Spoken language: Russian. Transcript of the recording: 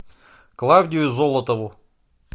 клавдию золотову